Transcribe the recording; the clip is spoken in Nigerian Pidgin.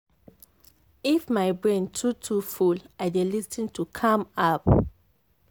if my brain too too full i dey lis ten to calm app.